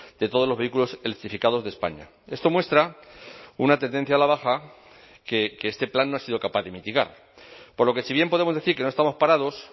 de todos los vehículos electrificados de españa esto muestra una tendencia a la baja que este plan no ha sido capaz de mitigar por lo que si bien podemos decir que no estamos parados